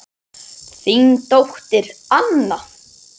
Þín dóttir, Anna.